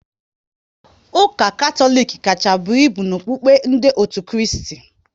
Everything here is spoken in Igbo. Ụka Katọlik kacha buo ibu n'okukpe ndị otu Kristi